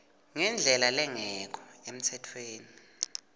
ngendlela lengekho emtsetfweni